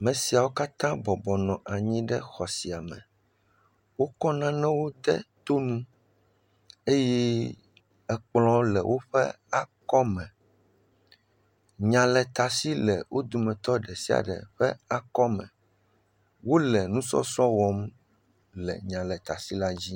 me siawo katã bɔbɔ nɔ anyi ɖe xɔ sia me wókɔ nanewo de toŋu eye kplɔ̃ le wóƒe akɔ me nyaletasi le wó dometɔ ɖesiaɖe ƒe akɔme wóle ŋusɔsrɔ wɔm le nyaletasi la dzi